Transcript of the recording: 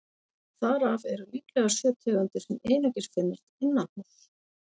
Þar af eru líklega sjö tegundir sem einungis finnast innanhúss.